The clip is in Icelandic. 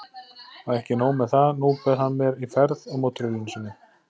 Og ekki nóg með það, nú bauð hann mér í ferð á mótorhjólinu sínu.